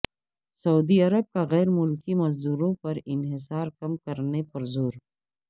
سعودی Arab کا غیر ملکی مزدوروں پر انحصار کم کرنے پر زور